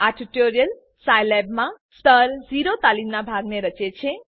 આ tutorial Scilab માં સ્તર 0 તાલીમ ના ભાગને રચે છે